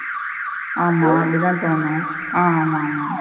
ஆமா அப்படித தோணும் அ ஆமா ஆமா.